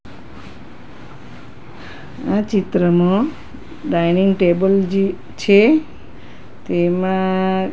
આ ચિત્રમાં dining table જે છે તેમા--